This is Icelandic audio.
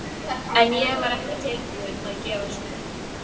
En ég var ekki tilbúin að gefast upp.